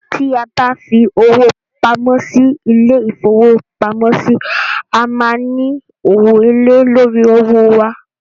Tí a bá fi owó pamọ́ sí ilé-ìfowópamọ́sí, a máa n ní owó èlèé lórí owó wa